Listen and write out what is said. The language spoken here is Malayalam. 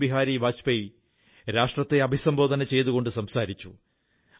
അടൽ ബിഹാരി വാജ്പേയി രാഷ്ട്രത്തെ അഭിസംബോധന ചെയ്തുകൊണ്ട് സംസാരിച്ചു